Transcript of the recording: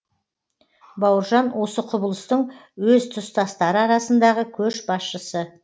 бауыржан осы құбылыстың өз тұстастары арасындағы көш басшысы